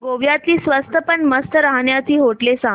गोव्यातली स्वस्त पण मस्त राहण्याची होटेलं सांग